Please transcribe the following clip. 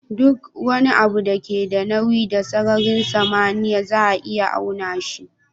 Duk wani abu da ke da nauyi da sararin samaniya za a iya auna shi